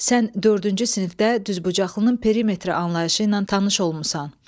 Sən dördüncü sinifdə düzbucaqlının perimetri anlayışı ilə tanış olmusan.